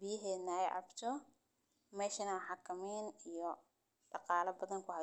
biyahedha ee cabto meshan xakimin iyo daqala badan ku haysato.